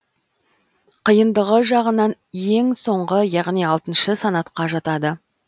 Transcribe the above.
қиындығы жағынан ең соңғы яғни алтыншы санатқа жатады